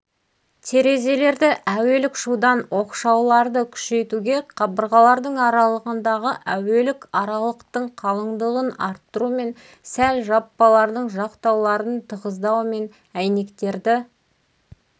терезелерді әуелік шудан оқшауларды күшейтуге қабырғалардың аралығындағы әуелік аралықтың қалындығын арттырумен сәл жаппалардың жақтауларын тығыздаумен әйнектерді